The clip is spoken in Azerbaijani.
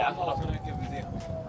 Yaxşı, yerdə elə.